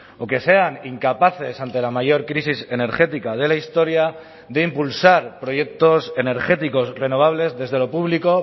o que sean incapaces ante la mayor crisis energética de la historia de impulsar proyectos energéticos renovables desde lo público